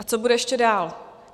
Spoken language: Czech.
A co bude ještě dál?